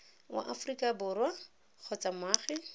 wa aforika borwa kgotsa moagi